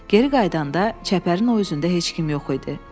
Geri qayıdanda çəpərin o üzündə heç kim yox idi.